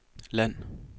land